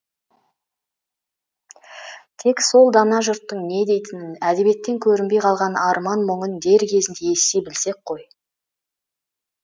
тек сол дана жұрттың не дейтінін әдебиеттен көрінбей қалған арман мұңын дер кезінде ести білсек қой